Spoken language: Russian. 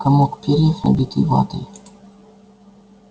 комок перьев набитый ватой